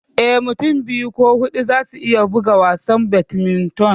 Eh, Mutum biyu ko huɗu za su iya buga wasan Badminton.